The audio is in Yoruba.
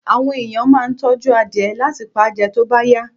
Àwọn ẹ̀yàn máa ń tọ́jú adìẹ láti pa jẹ tó bá yá.